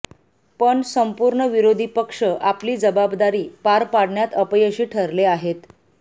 पण संपूर्ण विरोधी पक्ष आपली जबाबदारी पार पाडण्यात अपयशी ठरले आहेत